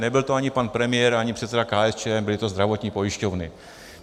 Nebyl to ani pan premiér, ani předseda KSČM, byly to zdravotní pojišťovny.